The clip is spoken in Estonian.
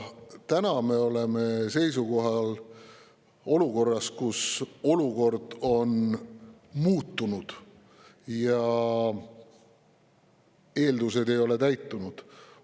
Tänaseks on olukord muutunud ja need eeldused ei ole täitunud.